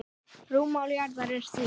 Rúmmál jarðar er því